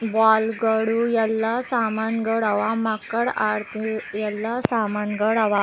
ball ಗಳು ಎಲ್ಲಾ ಸಾಮಾನುಗಳ್ ಅವ ಮಕ್ಕಳ್ ಆಡ್ದಿವು ಎಲ್ಲಾ ಸಾಮಾನಗಳ್ ಅವ --